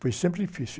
Foi sempre difícil.